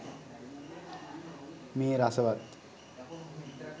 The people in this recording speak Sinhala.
මේ රසවත්